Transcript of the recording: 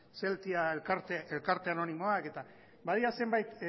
zeltia elkarte anonimoak eta badira zenbait